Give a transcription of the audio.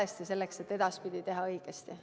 Seda on vaja selleks, et edaspidi teha õigesti.